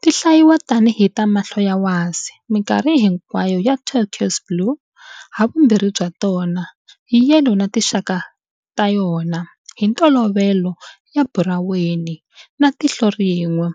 Ti hlayiwa tani hi ta mahlo ya wasi, minkarhi hinkwayo ya turquoise blue, havumbirhi bya tona, yellow na tinxaka ta yona, hi ntolovelo ta buraweni, na tihlo rin'we,